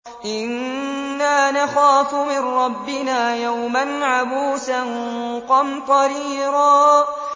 إِنَّا نَخَافُ مِن رَّبِّنَا يَوْمًا عَبُوسًا قَمْطَرِيرًا